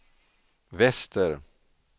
väster